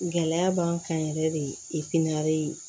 Gɛlɛya b'an kan yɛrɛ de